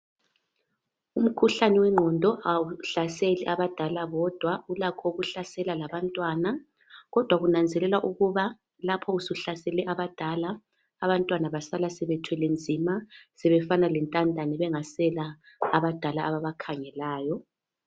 Umkhuhlane wengqondo awuhlaseli abadala bodwa ulakho ukuhlasela ulakho ukuhlasela labantwana lapho usuhlasele abadala abantwana basala sebethwele nzima sebefana lentandane bengasela abadala ababakhangelayo